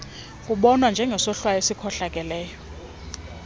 kubonwa njengesohlwayo esikhohlakeleyo